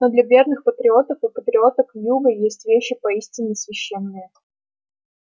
но для верных патриотов и патриоток юга есть вещи поистине священные